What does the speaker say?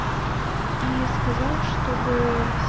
и сказал чтобы